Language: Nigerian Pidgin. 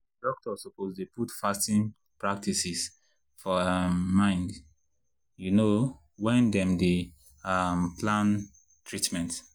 doctors suppose dey put fasting practices for um mind you know when dem dey um plan treatment.